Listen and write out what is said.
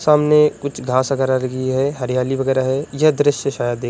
सामने कुछ घास वगैरह लगी है। हरियाली वगैरह है। यह दृश्य शायद दे --